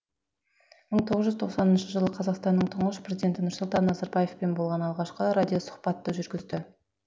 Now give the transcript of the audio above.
мың тоғыз жүз тоқсаныншы жылы қазақстанның тұңғыш президенті нұрсұлтан назарбаевпен болған алғашқы радиосұхбатты жүргізді